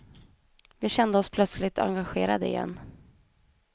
Vi kände oss plötsligt engagerade igen.